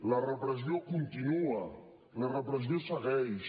la repressió continua la repressió segueix